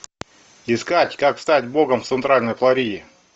искать как стать богом в центральной флориде